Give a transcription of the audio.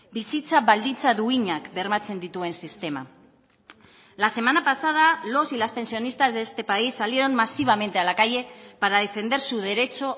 bizitza baldintza duinak bermatzen dituen sistema la semana pasada los y las pensionistas de este país salieron masivamente a la calle para defender su derecho